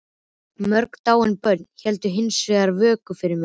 Mörg dáin börn héldu hins vegar vöku fyrir mér.